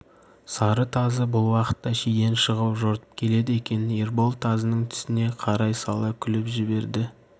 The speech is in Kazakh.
сары тазы бұл уақытта шиден шығып жортып келеді екен ербол тазының түсіне қарай сала күліп жіберді